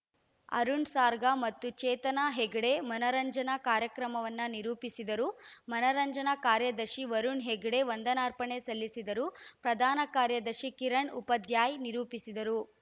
ಅರುಣ್‌ ಸಾಗರ್‌ ಮತ್ತು ಚೇತನಾ ಹೆಗ್ಡೆ ಮನರಂಜನಾ ಕಾರ್ಯಕ್ರಮವನ್ನು ನಿರೂಪಿಸಿದರು ಮನರಂಜನಾ ಕಾರ್ಯದರ್ಶಿ ವರುಣ್‌ ಹೆಗ್ಡೆ ವಂದನಾರ್ಪಣೆ ಸಲ್ಲಿಸಿದರು ಪ್ರಧಾನ ಕಾರ್ಯದರ್ಶಿ ಕಿರಣ್‌ ಉಪಾಧ್ಯಾಯ್‌ ನಿರೂಪಿಸಿದರು